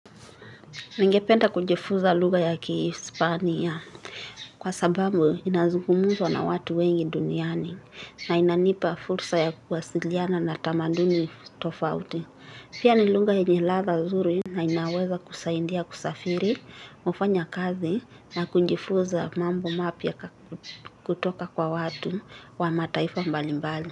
Ningependa kujifuza lugha ya khiisipania kwa sababu inazugumzwa na watu wengi duniani na inanipa fursa ya kuwasiliana na tamaduni tofauti Pia ni luga yenyeladha nzuri na inaweza kunisaidia kusafiri kufanya kazi na kujifunza mambo mapya kutoka kwa watu wa mataifa mbalimbali.